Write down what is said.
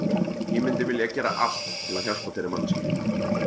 Ég myndi vilja gera allt til að hjálpa þeirri manneskju.